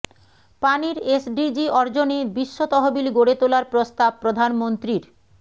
পানির এসডিজি অর্জনে বিশ্ব তহবিল গড়ে তোলার প্রস্তাব প্রধানমন্ত্রীর